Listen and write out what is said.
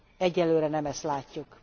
Egyelőre nem ezt látjuk.